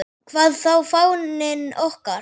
Hvað þá fáninn okkar.